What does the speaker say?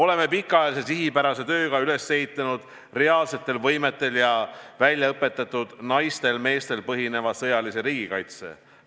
Oleme pikaajalise sihipärase tööga üles ehitanud reaalsetel võimetel ja väljaõpetatud naistel-meestel põhineva sõjalise riigikaitse.